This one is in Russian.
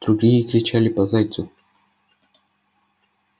другие кричали по зайцу